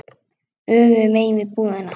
Öfugu megin við búðina.